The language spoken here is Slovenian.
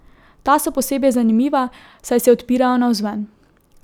Ta so posebej zanimiva, saj se odpirajo navzven.